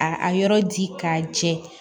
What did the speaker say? A a yɔrɔ di k'a jɛ